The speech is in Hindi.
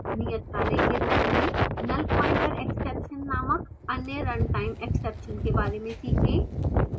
नियतकार्य के रूप में nullpointerexception नामक अन्य runtime exception के बारे में सीखें